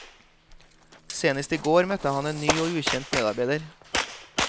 Senest i går møtte han en ny og ukjent medarbeider.